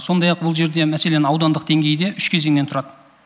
сондай ақ бұл жерде мәселен аудандық деңгейде үш кезеңнен тұрады